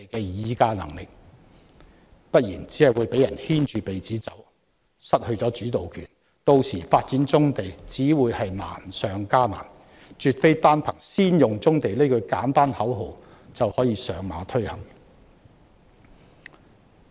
若非如此，只會被人牽着鼻子走，失去主導權，屆時發展棕地只會難上加難，絕非單憑"先用棕地"這句簡單口號就可以推行。